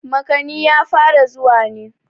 makani ya fara zuwa ne